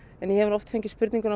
en ég hef nú oft fengið spurningar um